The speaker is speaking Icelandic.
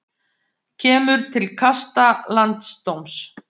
Kemur til kasta landsdóms